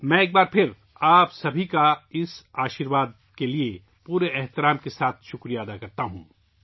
میں ایک بار پھر اس آشیرواد کے لیے پورے احترام کے ساتھ آپ سب کا شکریہ ادا کرتا ہوں